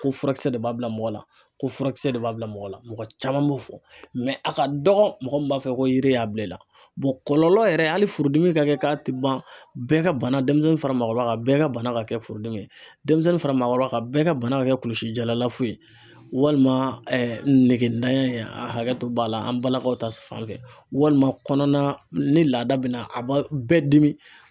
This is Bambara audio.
Ko furakisɛ de b'a bila mɔgɔ la, ko furakisɛ de b'a bila mɔgɔ la, mɔgɔ caman b'o fɔ mɛ a ka dɔgɔn mɔgɔ min b'a fɔ ko yiri y'a bila i la kɔlɔlɔ yɛrɛ hali furudimi ka kɛ k'a tɛ ban, bɛɛ ka bana denmisɛnnin fara maakɔrɔba kan, bɛɛ ka bana ka kɛ furudimi ye, denmisɛnnin fara maakɔrɔba kan ka, bɛɛ ka bana ka kɛ kulusi jalafo ye walima negetanya ,hakɛ to b'a la ,an balakaw ta fanfɛ ,walima kɔnɔna ni laada bɛna a ba bɛɛ dimi.